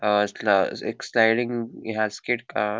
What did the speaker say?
हा स्ल एक स्लाइडिंग हें हा हा --